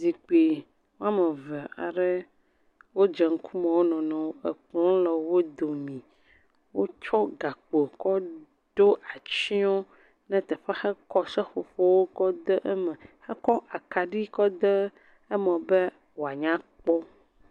Zikpui woame eve aɖe wodze ŋkume wo nɔ nɔewo, ekplɔ le wo dome, wotsɔ gakpo kɔ ɖo atsyɔ ɖe teƒe hekɔ seƒoƒo kɔ de eme hekɔ akaɖi kɔ de eme be wòanya kpɔ.